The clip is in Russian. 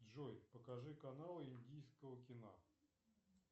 джой покажи канал индийского кино